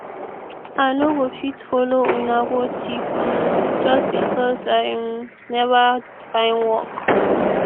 i no go fit follow una go thief um just because i um never find work